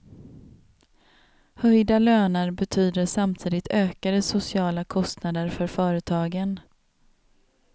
Höjda löner betyder samtidigt ökade sociala kostnader för företagen.